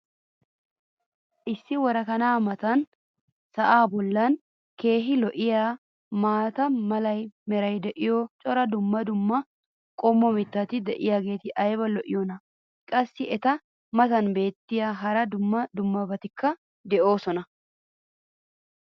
issi worakkanaa matan sa"aa boli keehi lo'iyaa maata mala meray diyo cora dumma dumma qommo mitatti diyaageti ayba lo'iyoonaa! qassi eta matan beetiya hara dumma dummabatikka beetoosona.